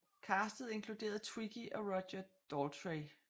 Castet inkluderede Twiggy og Roger Daltrey